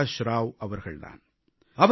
பிரகாஷ் ராவ் அவர்கள் தான்